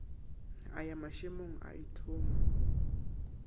a ya mašemong a ithoma